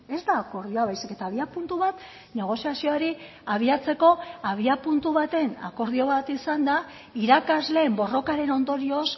ez da akordioa baizik eta abiapuntu bat negoziazioari abiatzeko abiapuntu baten akordio bat izan da irakasleen borrokaren ondorioz